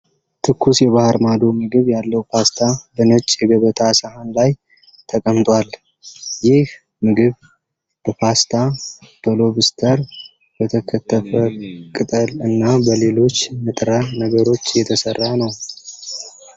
ትኩስ የባህር ማዶ ምግብ ያለው ፓስታ በነጭ የገበታ ሳህን ላይ ተቀምጧል። ይህ ምግብ በፓስታ፣ በሎብስተር፣ በተከተፈ ቅጠል እና በሌሎች ንጥረ ነገሮች የተሠራ ነው።